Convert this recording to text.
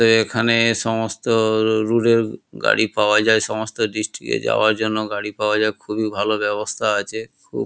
এ এখানে সমস্ত রুলের গাড়ি পাওয়া যায় সমস্ত ডিস্ট্রিক এ যাওয়ার গাড়ি পাওয়া যায় খুবই ভালো ব্যবস্থা আছে খুব--